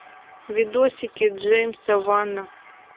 видосики джеймса вана